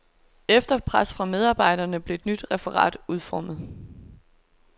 Efter pres fra medarbejderne blev et nyt referat udformet.